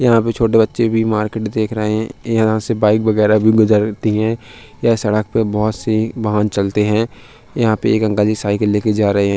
यहाँ पे छोटे बच्चे भी मार्केट देख रहे है यहाँ से बाइक वगैरह भी गुजरती है यह सड़क पे बहुत से वाहन चलते है यहाँ पे एक अंकल जी साइकिल लेके जा रहे हैं।